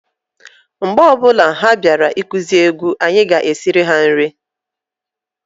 Mgbe ọbụna ha bịara ikuzi egwu, anyị ga- esiri ha nri.